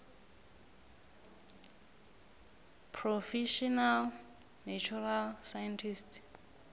professional natural scientist